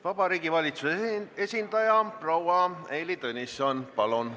Vabariigi Valitsuse esindaja proua Heili Tõnisson, palun!